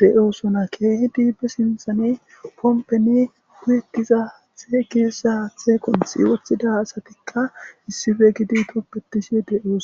de7oosona keehi diibbe sinthane pompeni guyetiza haathe keessa haathekon siwothida asatikka issife gidi tobetishe de7ooso